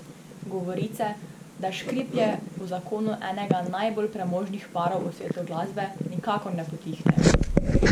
Govorice, da škriplje v zakonu enega najbolj premožnih parov v svetu glasbe nikakor ne potihnejo.